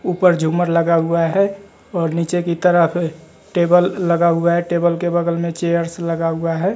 ऊपर झूमर लगा हुआ है और नीचे की तरफ टेबल लगा हुआ है टेबल के बगल में चेयर्स लगा हुआ है।